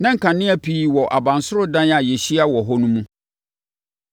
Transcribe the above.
Na nkanea pii wɔ abansoro dan a yɛahyia wɔ hɔ no mu.